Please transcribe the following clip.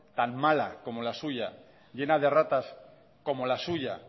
tan mala como la suya llena de erratas como la suya